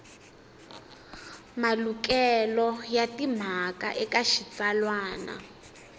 malukelo ya timhaka eka xitsalwana